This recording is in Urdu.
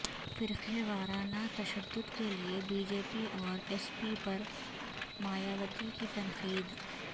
فرقہ وارانہ تشدد کے لئے بی جے پی اور ایس پی پر مایاوتی کی تنقید